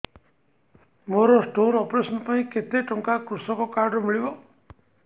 ମୋର stone operation ପାଇଁ କେତେ ଟଙ୍କା କୃଷକ କାର୍ଡ ରୁ ମିଳିବ